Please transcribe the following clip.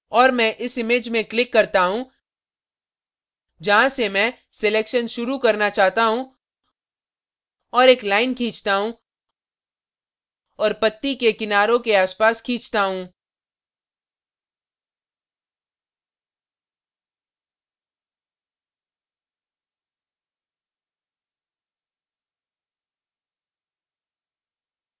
और मैं इस image में click करता हूँ जहाँ से मैं selection शुरू करना चाहता हूँ और एक line खींचता हूँ और पत्ती के किनारों के आसपास खींचता हूँ